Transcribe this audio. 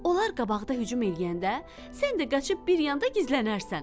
Onlar qabaqda hücum eləyəndə, sən də qaçıb bir yanda gizlənərsən.